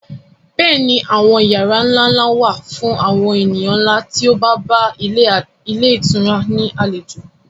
Bẹ́ẹ̀ ni àwọn yàrá ńlá ńlá wà fún àwọn ènìyàn ńlá tí ó bá bá ilé ìtura ní àlejò